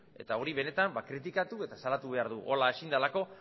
eta hori benetan kritikatu eta salatu behar dugu horrela ezin delako